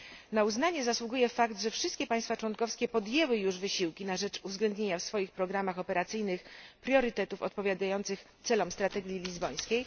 Na uznanie zasługuje fakt, że wszystkie państwa członkowskie podjęły już wysiłki na rzecz uwzględnienia w swoich programach operacyjnych priorytetów odpowiadających celom strategii lizbońskiej.